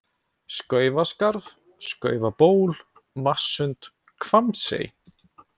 Skaufaskarð, Skaufaból, Vatnssund, Hvammsey